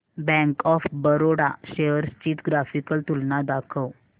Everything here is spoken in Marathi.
बँक ऑफ बरोडा शेअर्स ची ग्राफिकल तुलना दाखव